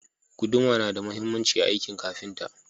Guduma na da mahhimanci a akin kafinta